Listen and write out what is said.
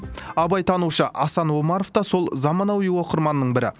абайтанушы асан омаров та сол замануи оқырманның бірі